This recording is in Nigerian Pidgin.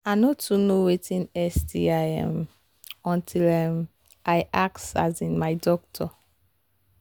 i no too know watin sti um until um i ask um my doctor